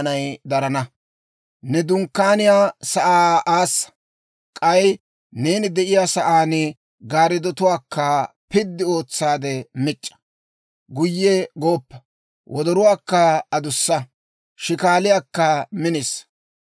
Ne dunkkaaniyaa sa'aa aassa; k'ay neeni de'iyaa sa'aan gaariddotuwaakka piddi ootsaade mic'c'a. Guyye gooppa; wodoruwaakka adussa; shikaaliyaakka minisa.